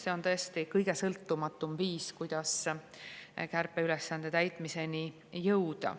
See on tõesti kõige sõltumatum viis, kuidas kärpeülesande täitmiseni jõuda.